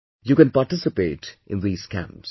You can participate in these camps